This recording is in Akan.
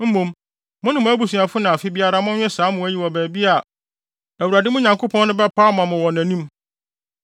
Mmom, mo ne mo abusuafo na afe biara monwe saa mmoa yi wɔ baabi a Awurade, mo Nyankopɔn no, bɛpaw ama mo no wɔ nʼanim.